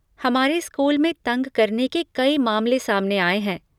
हमारे स्कूल में तंग करने के कई मामले सामने आए हैं।